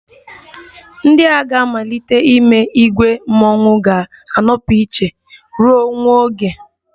Ndị a ga-amalite n'ime ìgwè mmọnwụ ga-anọpụ iche ruo nwa oge